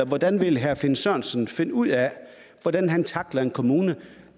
hvordan vil herre finn sørensen finde ud af hvordan han tackler en kommune